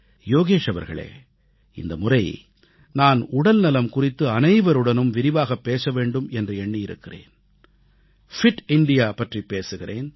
யோகேஷ் அவர்களே இந்தமுறை நான் உடல்நலம் குறித்து அனைவருடனும் விரிவாகப் பேச வேண்டும் என்று எண்ணியிருக்கிறேன் உடல் நலம் மிக்க இந்தியா ஃபிட் இந்தியா பற்றிப் பேசுகிறேன்